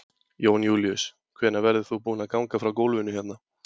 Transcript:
Jón Júlíus: Hvenær verður þú búinn að ganga frá gólfinu hérna?